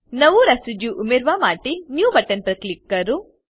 નવું રેસિડ્યુ ઉમેરવા માટે Newબટન પર કલક કરો